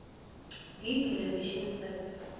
d television sets